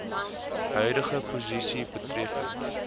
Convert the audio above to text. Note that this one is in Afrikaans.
huidige posisie betreffende